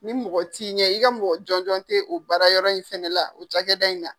Ni mɔgɔ t'i ɲɛ, i ka mɔgɔ jɔnjɔn te o baara yɔrɔ in fɛnɛ la o cakɛda in na.